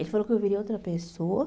Ele falou que eu viria outra pessoa.